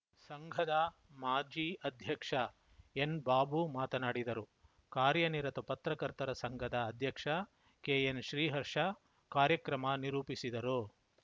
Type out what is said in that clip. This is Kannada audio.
ಸಂಘದ ಮಾಜಿ ಅಧ್ಯಕ್ಷ ಎನ್‌ ಬಾಬು ಮಾತನಾಡಿದರು ಕಾರ್ಯನಿರತ ಪತ್ರಕರ್ತರ ಸಂಘದ ಅಧ್ಯಕ್ಷ ಕೆಎನ್‌ ಶ್ರೀಹರ್ಷ ಕಾರ್ಯಕ್ರಮ ನಿರೂಪಿಸಿದರು